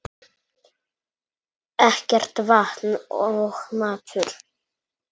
Ekkert vatn og matur.